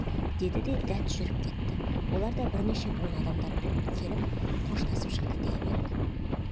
деді де дәт жүріп кетті олар да бірнеше буын адамдар боп келіп қоштасып шықты дей берді